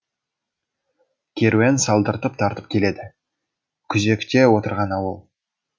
керуен салдыртып тартып келеді күзекте отырған ауыл